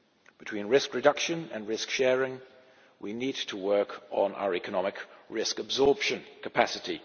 Between risk reduction and risk sharing, we need to work on our economic risk absorption capacity.